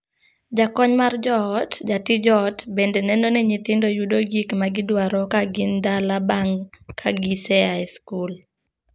Jakony mar joot (jatij ot) bende neno ni nyithindo yudo gik ma gidwaro ka gin dala bang' kagise aa skul.